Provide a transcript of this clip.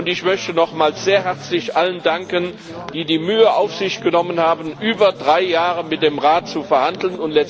Ich möchte nochmals sehr herzlich allen danken, die die Mühe auf sich genommen haben, über drei Jahre mit dem Rat zu verhandeln.